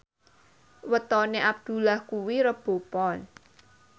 wetone Abdullah kuwi Rebo Pon